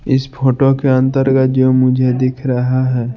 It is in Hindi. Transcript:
इस फोटो के अंतर्गत जो मुझे दिख रहा है।